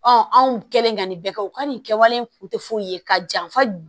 anw kɛlen ka nin bɛɛ kɛ u ka nin kɛwale in kun tɛ foyi ye ka janfa